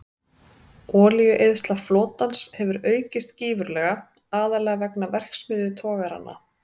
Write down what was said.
Olíueyðsla flotans hefur aukist gífurlega, aðallega vegna verksmiðjutogaranna.